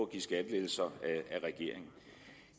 give skattelettelser af regeringen